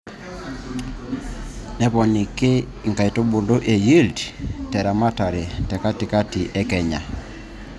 neponiki inkaitubulu e yield te ramatare te katikati e Kenya.